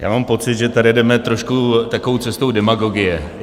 Já mám pocit, že tady jdeme trošku takovou cestou demagogie.